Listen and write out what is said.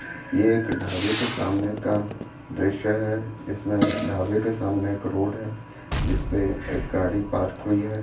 ये एक ढाबे के सामने का दृश्य है इसमें ढाबे के सामने एक रोड हैं जिसपे एक गाड़ी पार्क हुई हैं।